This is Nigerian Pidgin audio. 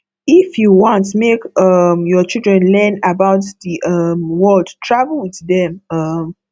if you want make um your children learn about the um world travel with dem um